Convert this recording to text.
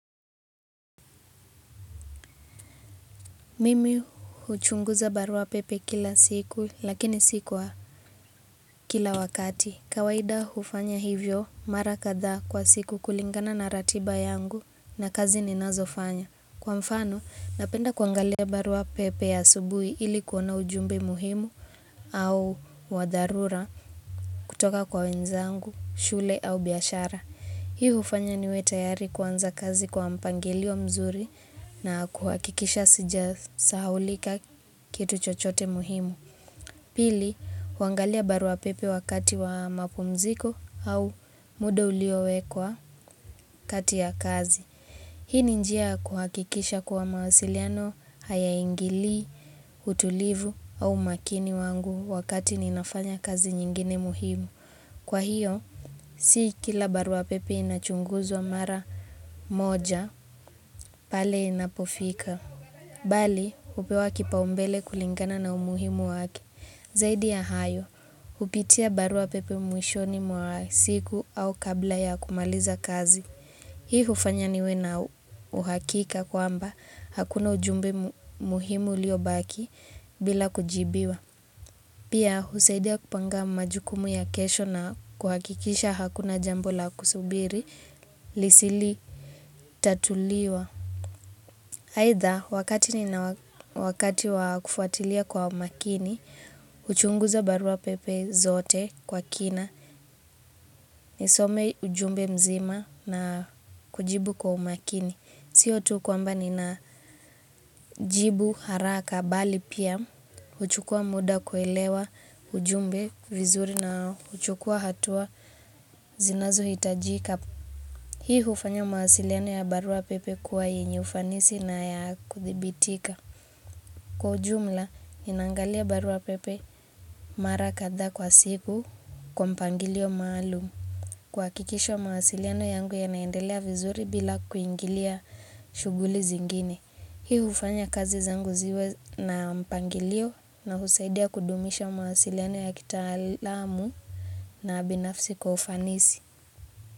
Mimi huchunguza barua pepe kila siku lakini si kwa kila wakati. Kawaida hufanya hivyo mara kadhaa kwa siku kulingana na ratiba yangu na kazi ninazofanya. Kwa mfano napenda kuangalia barua pepe asubuhi ili kuona ujumbe muhimu au wadharura kutoka kwa wenzangu, shule au biashara. Hii hufanya niwe tayari kuanza kazi kwa mpangilio mzuri na kuhakikisha sijasahaulika kitu chochote muhimu. Pili, kuangalia barua pepe wakati wa mapumziko au muda uliowekwa kati ya kazi. Hii ni njia ya kuhakikisha kuwa mawasiliano hayaingilii, utulivu au umakini wangu wakati ninafanya kazi nyingine muhimu. Kwa hiyo, si kila barua pepe inachunguzwa mara moja pale inapofika. Bali, hupewa kipaumbele kulingana na umuhimu wake. Zaidi ya hayo, hupitia barua pepe mwishoni mwa siku au kabla ya kumaliza kazi. Hii hufanya niwe na uhakika kwamba hakuna ujumbe muhimu ulio baki bila kujibiwa. Pia, husaidia kupanga majukumu ya kesho na kuhakikisha hakuna jambo la kusubiri lisilotatuliwa. Aidha, wakati wa kufuatilia kwa makini, huchunguza barua pepe zote kwa kina, nisome ujumbe mzima na kujibu kwa umakini. Sio tu kwamba ninajibu haraka bali pia huchukua muda kuelewa ujumbe vizuri na huchukua hatua zinazohitajika. Hii hufanya mawasiliano ya barua pepe kuwa yenye ufanisi na ya kuthibitika. Kwa ujumla, ninaangalia barua pepe mara kadha kwa siku kwa mpangilio maalum. Kuhakikisha mawasiliano yangu yanaendelea vizuri bila kuingilia shughuli zingine. Hii hufanya kazi zangu ziwe na mpangilio na husaidia kudumisha mawasiliano ya kitaalamu na binafsi kwa ufanisi.